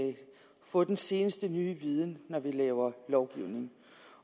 af at få den seneste nye viden når vi laver lovgivning